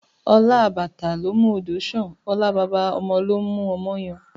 Ọlá àbàtà ló ń mú odò sàn, ọlá baba ọmọ ló ń mú ọmọ yan